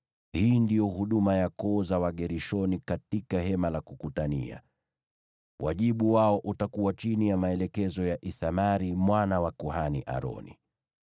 Hii ndiyo huduma ya koo za Wagershoni katika Hema la Kukutania. Wajibu wao utakuwa chini ya maelekezo ya Ithamari mwana wa kuhani Aroni.